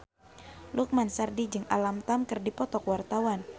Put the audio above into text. Lukman Sardi jeung Alam Tam keur dipoto ku wartawan